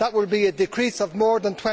That will be a decrease of more than